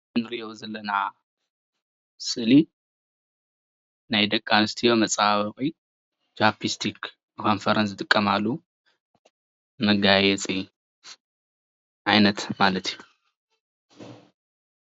እዚ እንሪኦ ዘለና ስእሊ ናይ ደቂ ኣነስትዮ መፀባበቂ ቻፕስቲክ ንከንፈረን ዝጥቀማሉ መጋየፂ ዓይነት ማለት እዩ፡፡